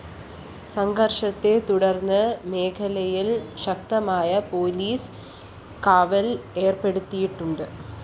സംഘര്‍ഷത്തെ തുടര്‍ന്ന് മേഖലയില്‍ ശക്തമായ പോലീസ് കാവല്‍ ഏര്‍പ്പെടുത്തിയിട്ടുണ്ട്